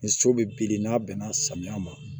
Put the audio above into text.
Ni so bɛ bilen n'a bɛnna samiya ma